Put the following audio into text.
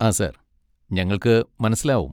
ആ സർ, ഞങ്ങൾക്ക് മനസ്സിലാവും.